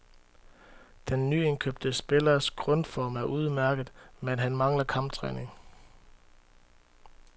Den nyindkøbte spillers grundform er udmærket, men han mangler kamptræning.